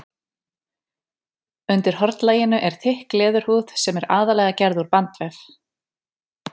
Undir hornlaginu er þykk leðurhúð sem er aðallega gerð úr bandvef.